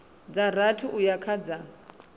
dza rathi uya kha dza